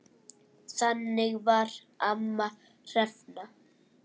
Þannig var amma Hrefna.